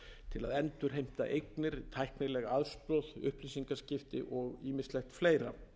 til að endurheimta eignir tæknileg aðstoð upplýsingaskipti og ýmislegt fleira